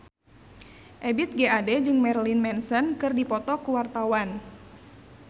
Ebith G. Ade jeung Marilyn Manson keur dipoto ku wartawan